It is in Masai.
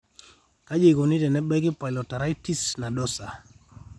kaji eikoni tenebaki polyarteritis nadosa ?